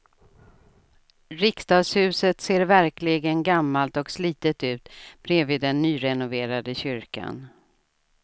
Riksdagshuset ser verkligen gammalt och slitet ut bredvid den nyrenoverade kyrkan.